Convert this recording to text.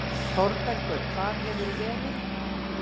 ÞÓRBERGUR: Hvar hefurðu verið?